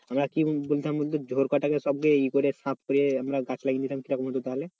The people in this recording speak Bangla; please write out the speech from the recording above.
আমরা কি বলতাম বলতো? গাছ লাগিয়ে নিতাম কিরকম হতো তাহলে?